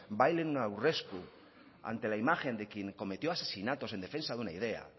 bailen un aurresku ante la imagen de quien cometió asesinatos en defensa de una idea